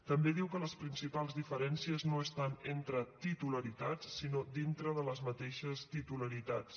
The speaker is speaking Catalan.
també diu que les principals diferències no són tant entre titularitats sinó dintre de les mateixes titularitats